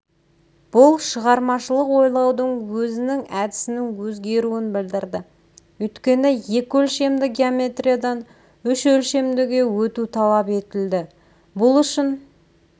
бұл шығармашылық ойлаудың өзінің әдісінің өзгеруін білдірді өйткені екі өлшемді геометриядан үш өлшемдіге өту талап етілді бұл үшін